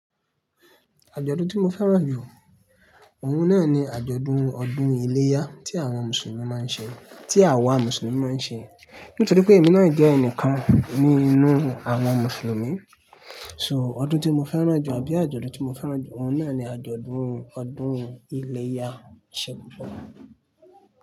Àjọ̀dún tí mo fẹ́ràn jù, òun náà ni àjọ̀dún ọdún iléyá tí àwọn Mùsùlùmí máa ń ṣe, tí àwa Mùsùlùmí máa ń ṣe. Nítorí pé èmi náà jẹ́ ẹnìkan ní inú àwọn Mùsùlùmí. So, ọdún tí mo fẹ́ràn jù àbí àjọ̀dún tí mo fẹ́ràn jù, òun náà ni àjọ̀dún ọdún iléyá. Ṣé gbogbo?